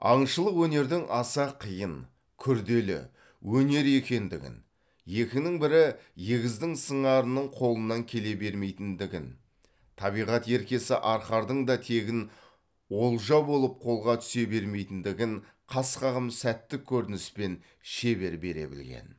аңшылық өнердің аса қиын күрделі өнер екендігін екінің бірі егіздің сыңарының қолынан келе бермейтіндігін табиғат еркесі арқардың да тегін олжа болып қолға түсе бермейтіндігін қас қағым сәттік көрініспен шебер бере білген